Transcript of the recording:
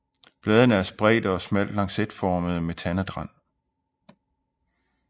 Bladene er spredte og smalt lancetformede med tandet rand